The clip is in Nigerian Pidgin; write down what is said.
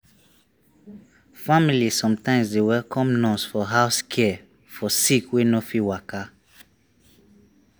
family sometimes dey welcome nurse for house care for sick wey no fit waka.